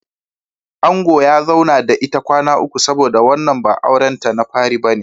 Angon ya zauna da ita kwana uku saboda wannan ba auren ta na fari bane.